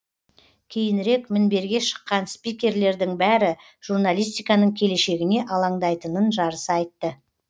кейінірек мінберге шыққан спикерлердің бәрі журналистиканың келешегіне алаңдайтынын жарыса айтты